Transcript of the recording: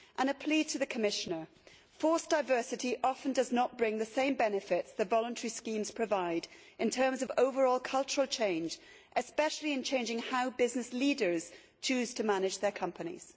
And a plea to the Commissioner forced diversity often does not bring the same benefits that the voluntary schemes provide in terms of overall cultural change, especially in changing how business leaders choose to manage their companies.